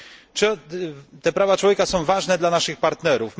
Czy te prawa człowieka są ważne dla naszych partnerów?